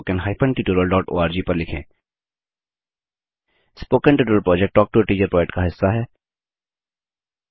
spoken tutorial project talk to a teacher project का हिस्सा है